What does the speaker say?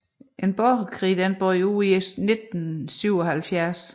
En borgerkrig brød ud i 1977